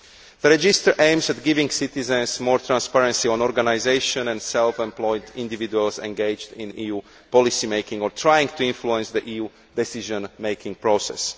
The register aims to give citizens more transparency as regards organisations and self employed individuals engaged in EU policy making or trying to influence the EU decision making process.